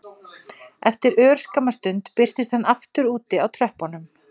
Tveimur mínútum áður hefði ég náð honum og skorað.